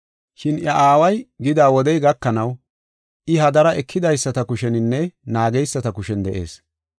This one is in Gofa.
Shin iya aaway gida wodey gakanaw I hadara ekidaysata kusheninne naageysata kushen de7ees.